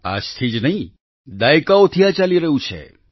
આજ થી જ નહીં દાયકાઓથી આ ચાલી રહ્યું છે